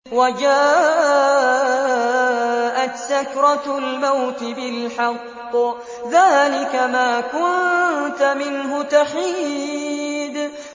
وَجَاءَتْ سَكْرَةُ الْمَوْتِ بِالْحَقِّ ۖ ذَٰلِكَ مَا كُنتَ مِنْهُ تَحِيدُ